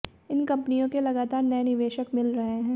इन कम्पनियों के लगातार नए निवेशक मिल रहे हैं